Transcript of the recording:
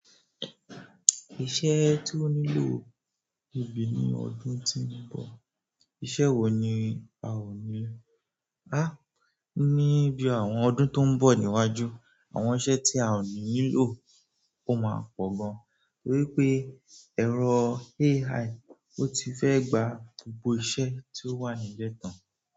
Iṣẹ́ tí ó nílò ibi ní ọdún tí ń bọ̀, iṣẹ́ wo ni a ó nílò? Há! Ni bí àwọn ọdún tó ń bọ̀ níwájú, àwọn iṣẹ́ tí a ò ní nílò ó máa pọ̀ gan. Nítorí pé ẹ̀rọ AI ò ti fẹ́ gba gbogbo iṣẹ́ tí ó wà níbẹ̀ tán.